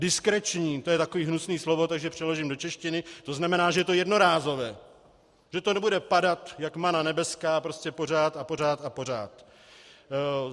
Diskreční, to je takové hnusné slovo, takže přeložím do češtiny, to znamená, že je to jednorázové, že to nebude padat jak mana nebeská prostě pořád a pořád a pořád.